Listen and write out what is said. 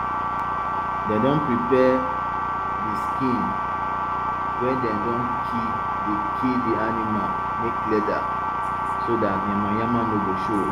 dem don prepare de skin wey dem don kill de kill de animal make leather so dat yama yama no go grow